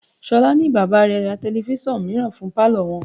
Ṣolá ní bàbá rẹ̀ ra telifísàn mìíràn fún palo wọn.